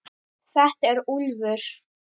Þetta er Úlfur.